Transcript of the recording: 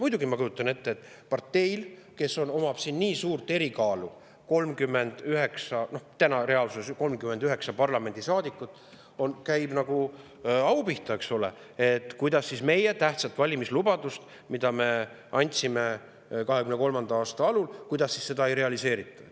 Muidugi, ma kujutan ette, et parteile, kes omab siin nii suurt erikaalu – reaalsuses on tal ju 39 parlamendisaadikut –, käib nagu au pihta, eks ole, et kuidas siis meie tähtsat valimislubadust, mille me andsime 2023. aasta alul, ei realiseerita.